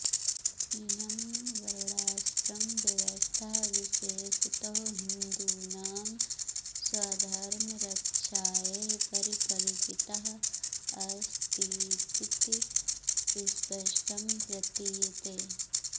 इयं वर्णाश्रमव्यवस्था विशेषतो हिन्दूनां स्वधर्मरक्षायै परिकल्पिताऽस्तीति स्पष्टं प्रतीयते